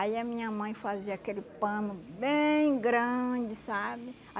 Aí a minha mãe fazia aquele pano bem grande, sabe?